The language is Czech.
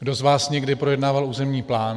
Kdo z vás někdy projednával územní plán?